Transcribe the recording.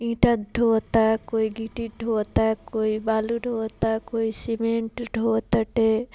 ईटा ढ़ोवता कोई गिट्टी ढ़ोवता कोई बालू ढ़ोवता कोई सीमेंट ढ़ोव ताटे।